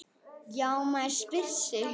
Já, maður spyr sig?